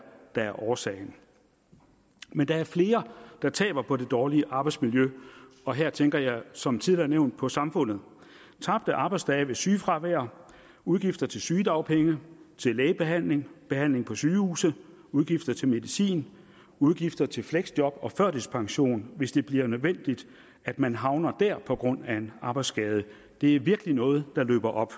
der er årsagen men der er flere der taber på det dårlige arbejdsmiljø og her tænker jeg som tidligere nævnt på samfundet tabte arbejdsdage ved sygefravær udgifter til sygedagpenge til lægebehandling behandling på sygehuse udgifter til medicin udgifter til fleksjob og førtidspension hvis det bliver nødvendigt at man havner der på grund af en arbejdsskade det er virkelig noget der løber op